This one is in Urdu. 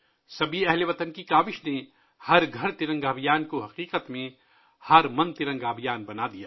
تمام ہم وطنوں کی کوششوں نے 'ہر گھر ترنگا ابھیان' کو 'ہر من ترنگا ابھیان' میں بدل دیا